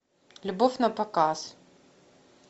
любовь напоказ